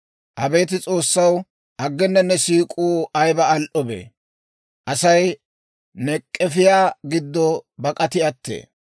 Abeet S'oossaw, aggena ne siik'uu ayiba al"obee! Asay ne k'efiyaa giddo bak'ati attee.